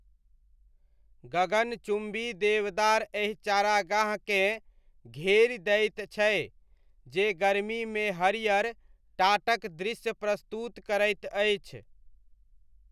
गगन चुम्बी देवदार एहि चारागाहकेँ घेरि दैत छै जे गर्मीमे हरियर टाटक दृश्य प्रस्तुत करैत अछि।